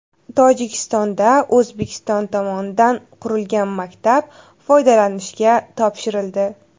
Tojikistonda O‘zbekiston tomonidan qurilgan maktab foydalanishga topshirildi .